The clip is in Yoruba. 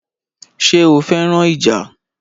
Ṣé o fẹ́ràn ìjà?